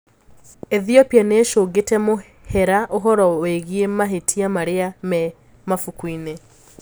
Ethiopia niishũngite mũhira ũhoro wigie mahitia maria me mabukuini.